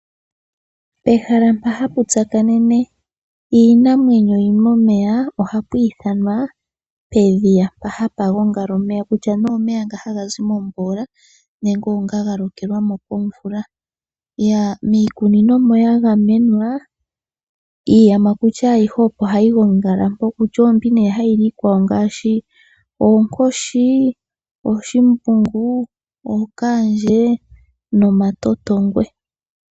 Ehala mpa hapu tsakanene iinamwenyo yili momeya, ohapu ithanwa pedhiya. Mpa hapu gongala omeya kutya nee omeya nga taga zi momvula nenge onga ga lokelwamo komvula. Miikunino mo ya gamenwa iiyamakuti ayihe opo hayi gongala mo, kutya oombi hayi li iikwawo ngaashi: oonkoshi, ooshimbungu, ookaandje nomatotongwe.